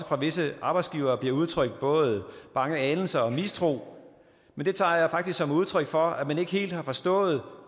fra visse arbejdsgiveres side bliver udtrykt både bange anelser og mistro men det tager jeg faktisk som et udtryk for at man ikke helt har forstået